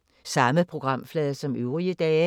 Samme programflade som øvrige dage